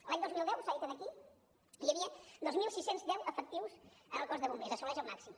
l’any dos mil deu s’ha dit aquí hi havia dos mil sis cents i deu efectius en el cos de bombers assoleix el màxim